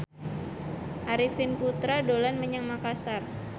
Arifin Putra dolan menyang Makasar